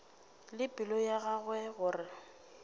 le pelo ya gagwe gore